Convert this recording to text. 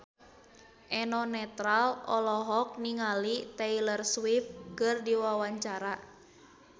Eno Netral olohok ningali Taylor Swift keur diwawancara